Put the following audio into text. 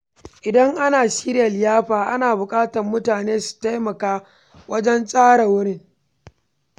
Idan ana shirya liyafa, ana buƙatar mutane su taimaka wajen tsara wurin.